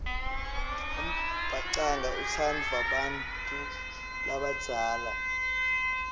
umbhacanga utsandvwa bantfu labadzala